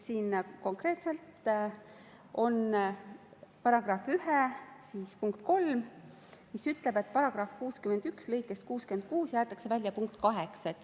Siin konkreetselt on § 1 punkt 3, mis ütleb, et paragrahvi 61 lõikest 66 jäetakse välja punkt 8.